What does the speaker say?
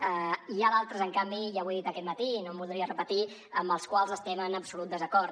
n’hi ha d’altres en canvi ja ho he dit aquest matí i no em voldria repetir amb les quals estem en absolut desacord